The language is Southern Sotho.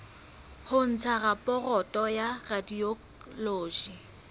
ho ntsha raporoto ya radiology